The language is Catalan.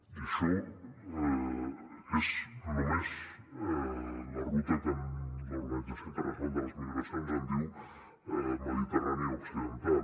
i això és només la ruta que l’organització internacional per a les migracions en diu mediterrània occidental